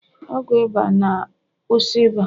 ọgwụ ịba na- kwusi ịba